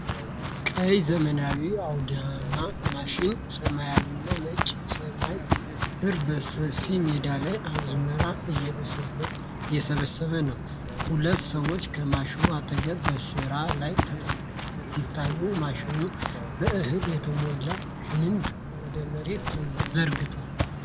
ቀይ ዘመናዊ አውድማ ማሽን ሰማያዊና ነጭ ሰማይ ስር በሰፊ ሜዳ ላይ አዝመራ እየሰበሰበ ነው። ሁለት ሰዎች ከማሽኑ አጠገብ በስራ ላይ ተጠምደው ሲታዩ ማሽኑ በእህል የተሞላ ክንድ ወደ መሬት ዘርግቷል።